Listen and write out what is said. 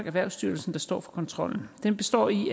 erhvervsstyrelsen der står for kontrollen den består i